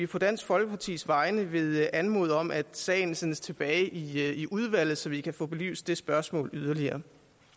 på dansk folkepartis vegne vil anmode om at sagen sendes tilbage i i udvalget så vi kan få belyst det spørgsmål yderligere